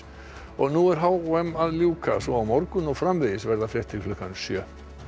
nú er h m að ljúka svo á morgun og framvegis verða fréttir klukkan sjö